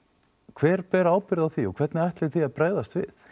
hver ber ábyrgð á því og hvernig ætlið þið að bregðast við